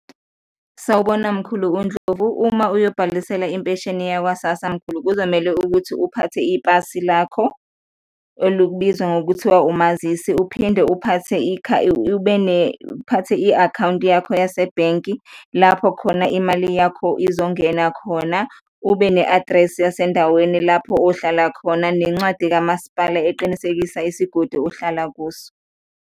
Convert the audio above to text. Sawubona mkhulu uNdlovu, uma uyobhalisela impesheni yakwa-SASSA mkhulu, kuzomele ukuthi uphathe ipasi lakho olubizwa ngokuthiwa umazisi uphinde uphathe ube uphathe i-akhawunti yakho yasebhenki lapho khona imali yakho izongena khona, ube ne-address yasendaweni lapho ohlala khona nencwadi kamasipala eqinisekisa isigodi ohlala kuso.